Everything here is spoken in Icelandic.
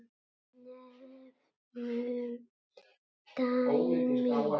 Nefnum dæmi.